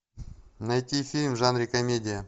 найти фильм в жанре комедия